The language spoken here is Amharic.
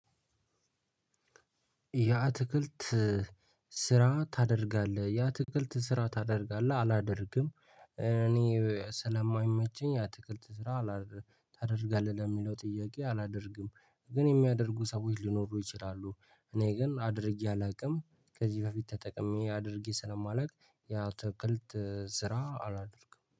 ያ ትክልት ስራ ታደርጋለህ ያ ትክልት ስራ ታደርጋለህ? አላደርግም። እኔ ስለማይመቸኝ አትክልት ስራ ታደርጋለህ ለሚለው ጥያቄ አላደርግም። ግን የሚያደርጉ ሰዎች ሊኖሩ ይችላሉ። እኔ ግን አድርጌ አላውቅም። ከዚህ በፊት ተጠቅሜ አድርጌ ስለማለት ያትክልት ስራ አላደርግም